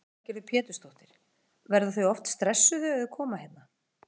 Lillý Valgerður Pétursdóttir: Verða þau oft stressuð þegar þau koma hérna?